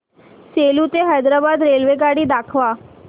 सेलू ते हैदराबाद रेल्वेगाडी दाखवा